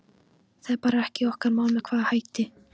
Það er bara ekki okkar mál með hvaða hætti